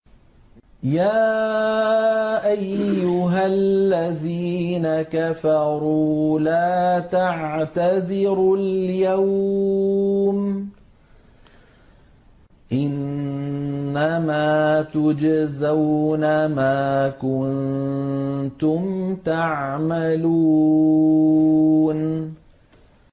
يَا أَيُّهَا الَّذِينَ كَفَرُوا لَا تَعْتَذِرُوا الْيَوْمَ ۖ إِنَّمَا تُجْزَوْنَ مَا كُنتُمْ تَعْمَلُونَ